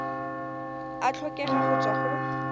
a tlhokega go tswa go